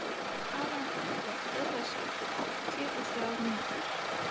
Alanta, slökktu á þessu eftir áttatíu og þrjár mínútur.